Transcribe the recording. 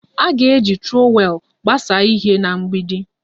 A ga-eji trọwel gbasaa ihe na mgbidi